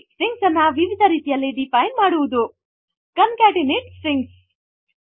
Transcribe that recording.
2 strings ಅನ್ನು ವಿವಿಧ ರೀತಿಯಲ್ಲಿ ಡಿಫೈನ್ ಮಾಡಿ 3 ಕಾಂಕೆಟೆನೇಟ್ ಸ್ಟ್ರಿಂಗ್ಸ್